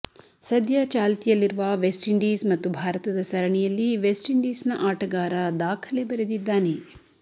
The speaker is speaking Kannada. ಸದ್ಯ ಚಾಲ್ತಿಯಲ್ಲಿರುವ ವೆಸ್ಟ್ ಇಂಡೀಸ್ ಮತ್ತು ಭಾರತದ ಸರಣಿಯಲ್ಲಿ ವೆಸ್ಟ್ ಇಂಡೀಸ್ ನ ಆಟಗಾರ ದಾಖಲೆ ಬರೆದದಿದ್ದಾನೆ